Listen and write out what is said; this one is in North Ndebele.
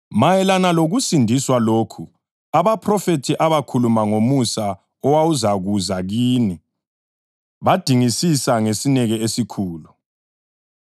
Mayelana lokusindiswa lokhu, abaphrofethi abakhuluma ngomusa owawuzakuza kini, badingisisa ngesineke esikhulu,